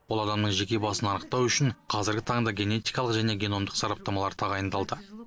ол адамның жеке басын анықтау үшін қазіргі таңда генетикалық және геномдық сараптамалар тағайындалды